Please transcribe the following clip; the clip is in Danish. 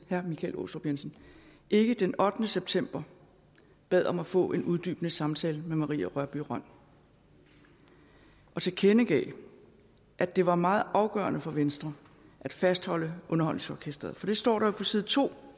herre michael aastrup jensen ikke den ottende september bad om at få en uddybende samtale med marie rørbye rønn og tilkendegav at det var meget afgørende for venstre at fastholde underholdningsorkestret for det står der jo på side to